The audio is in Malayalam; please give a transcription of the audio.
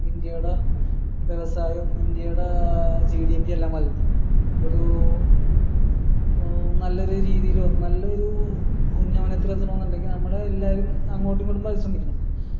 ഇന്ത്യയുടെ വ്യവസായം ഇന്ത്യയുടെ ഏർ GDP എല്ലാം ഒരു നല്ലൊരു രീതിയിൽ നല്ലൊരു ശ്രെമിക്കണം